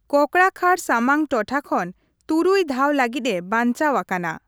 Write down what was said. ᱠᱚᱠᱲᱟᱠᱷᱟᱲ ᱥᱟᱢᱟᱝ ᱴᱚᱴᱷᱟ ᱠᱷᱚᱱ ᱛᱩᱨᱩᱭ ᱫᱷᱟᱣ ᱞᱟ.ᱜᱤᱫ ᱮ ᱵᱟᱪᱱᱟᱣ ᱟᱠᱟᱱᱟ।